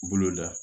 Bolo la